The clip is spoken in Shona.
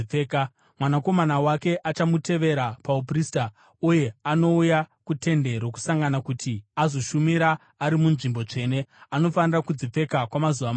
Mwanakomana wake achamutevera pauprista uye anouya kuTende Rokusangana kuti azoshumira ari muNzvimbo Tsvene, anofanira kudzipfeka kwamazuva manomwe.